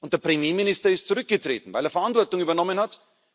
Und der Premierminister ist zurückgetreten, weil er Verantwortung übernommen